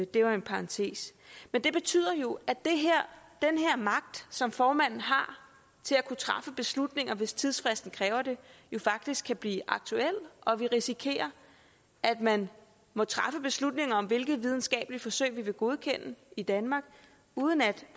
det var en parentes men det betyder jo at den her magt som formanden har til at kunne træffe beslutninger hvis tidsfristen kræver det jo faktisk kan blive aktuel og vi risikerer at man må træffe beslutninger om hvilke videnskabelige forsøg vi vil godkende i danmark uden at